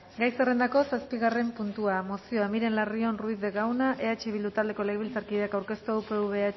gai zerrendako zazpigarren puntua mozioa miren larrion ruiz de gauna eh bildu taldeko legebiltzarkideak aurkeztua upv ehuk